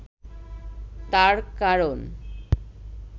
তার কারণ